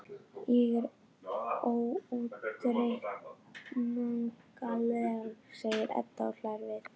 Ég er óútreiknanleg, segir Edda og hlær við.